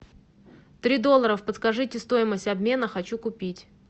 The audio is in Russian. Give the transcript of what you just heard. три доллара подскажите стоимость обмена хочу купить